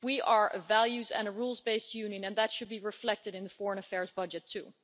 We are a values and rules based Union, and that should be reflected in the foreign affairs budget too.